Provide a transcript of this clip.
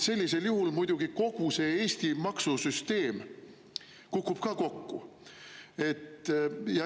Sellisel juhul kukub muidugi kogu Eesti maksusüsteem ka kokku.